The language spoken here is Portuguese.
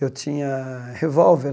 Eu tinha revólver.